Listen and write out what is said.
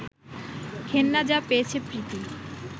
ঘেন্না যা পেয়েছে প্রীতি